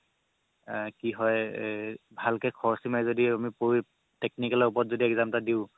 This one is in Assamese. আ কি হয় এ ভালকে খৰচি মাৰি আমি যদি পঢ়ি technical ৰ ওপৰত exam এটা দিও